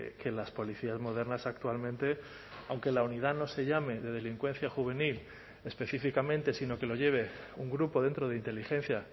que las policías modernas actualmente aunque la unidad no se llame de delincuencia juvenil específicamente sino que lo lleve un grupo dentro de inteligencia